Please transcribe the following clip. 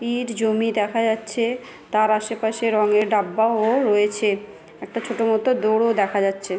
ইট জমি দেখা যাচ্ছে তার আশেপাশে রঙ এর ডাব্বা ওও রয়েছে একটা ছোট মত দোর ও দেখা যাচ্ছে |